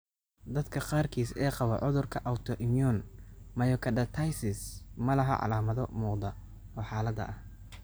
Dadka qaarkiis ee qaba cudurka 'autoimmune myocarditis' ma laha calaamado muuqda oo xaaladda ah.